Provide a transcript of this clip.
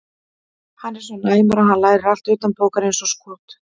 Hann er svo næmur að hann lærir allt utanbókar eins og skot.